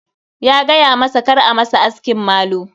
Ya gayamasa kar a masa askin malu.